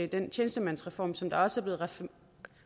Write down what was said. den tjenestemandsreform som der også blev